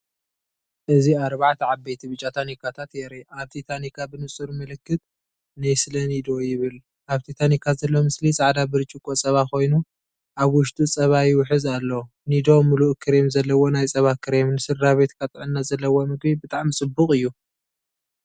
እዚ ኣርባዕተ ዓበይቲ ብጫ ታኒካታተ የርኢ። ኣብቲ ታንካ ብንጹር ምልክት"ኔስለ ኒዶ"ይብል፣ ኣብቲ ታንኪ ዘሎ ምስሊ ጻዕዳ ብርጭቆ ጸባ ኮይኑ ኣብ ውሽጡ ጸባ ይውሕዝ ኣሎ። ኒዶ ምሉእ ክሬም ዘለዎ ናይ ጸባ ክሬም፡ ንስድራቤትካ ጥዕና ዘለዎ ምግቢ ብጣዕሚ ፅቡቅ እዩ።